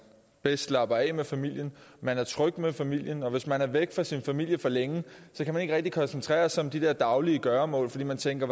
bedst slapper af med familien man er tryg med familien og hvis man er væk fra sin familie for længe kan man ikke rigtig koncentrere sig om de der daglige gøremål fordi man tænker